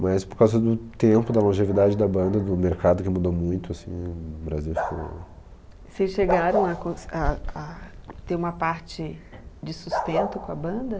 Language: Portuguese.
Mas por causa do tempo, da longevidade da banda, do mercado que mudou muito, assim, o Brasil ficou... Vocês chegaram a cons a a, ter uma parte de sustento com a banda?